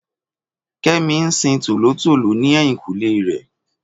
Kẹ́mi ń sin tòlótòló ní ẹ̀yìnkùlé rẹ̀